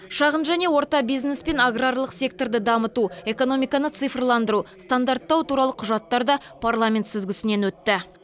шағын және орта бизнес пен аграрлық секторды дамыту экономиканы цифрландыру стандарттау туралы құжаттар да парламент сүзгісінен өтті